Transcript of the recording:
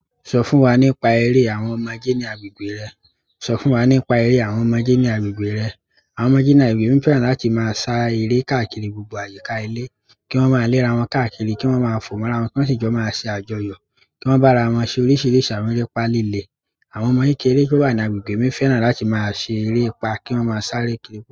Sọ fún wa nípa ère àwọn ọmọdé ní agbegbẹ́ rẹ. Sọ fún wa nípa eré àwọn ọmọdé ní agbègbè rẹ. Àwọn ọmọdé ní agbègbè mi fẹ́ràn láti máa ṣá eré káàkiri gbogbo àyíká ìle. Ki won ma le ara won káàkiri ki won maa fo mo ara won ki won si jo ma se àjọyọ̀ kí wọ́n bá ra wọ́n ṣe oríṣìíríṣìí àwọn ẹrepa líle. Àwọn ọmọ kékeré tó wà ní agbègbè mi fẹ́ràn láti máa ṣe eré ìpà, kí wọ́n máa sáré kiri.